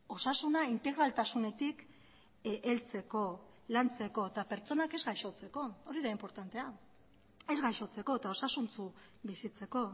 osasuna integraltasunetik heltzeko lantzeko eta pertsonak ez gaixotzeko hori da inportantea ez gaixotzeko eta osasuntsu bizitzeko